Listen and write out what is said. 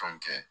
Fɛnw kɛ